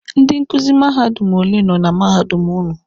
Ndị nkuzi mahadum ole nọ na mahadum ụnụ?